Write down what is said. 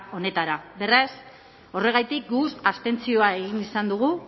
honetara beraz horregatik guk abstentzioa egin izan dugu